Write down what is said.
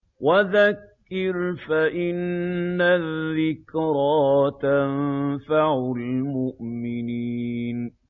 وَذَكِّرْ فَإِنَّ الذِّكْرَىٰ تَنفَعُ الْمُؤْمِنِينَ